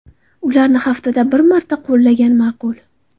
Ularni haftada bir marta qo‘llagan ma’qul.